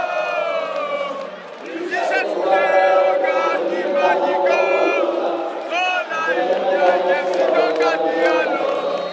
जाऊदे आता बॉ आता काय करणार घरचे म्हणे तू आता काय कामावर जाऊ नको तू घरीच थांब अन तुला पण माहित ये आपल्याला मुतखडा होइल वजन झेपत नाही